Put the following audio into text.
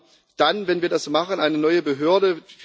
Wir haben dann, wenn wir das machen, eine neue Behörde.